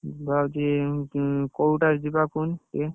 ଭାବୁଛି କୋଉଟାରେ ଯିବା କୁହନି ଇଏ